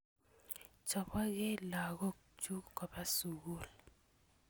Chopekey lagok chuk kopa sukul